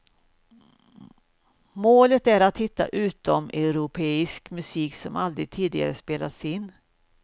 Målet är att hitta utomeuropeisk musik som aldrig tidigare spelats in.